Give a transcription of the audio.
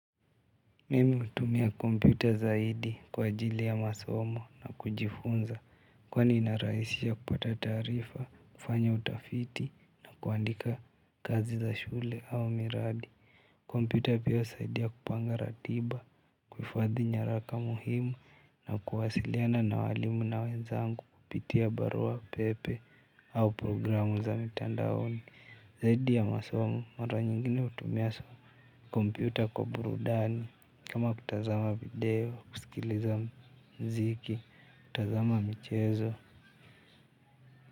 Mimi hutumia kompyuta zaidi kwa ajili ya masomo na kujifunza. Kwani inarahisisha kupata taarifa, kufanya utafiti na kuandika kazi za shule au miradi. Kompyuta pia husaidia kupanga ratiba, kuhifadhi nyaraka muhimu na kuwasiliana na walimu na wezangu kupitia barua pepe au programu za mitandaoni. Zaidi ya masomo mara nyingine hutumia kompyuta kwa burudani kama kutazama video, kusikiliza mziki, kutazama michezo.